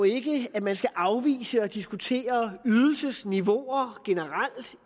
jo ikke at man skal afvise at diskutere ydelsesniveauer generelt